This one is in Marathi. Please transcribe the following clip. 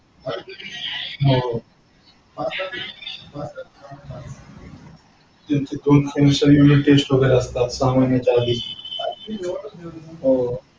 हो. ज्यांची युनिट टेस्ट वगैरे असता सहा महिन्याच्या आधी. हो.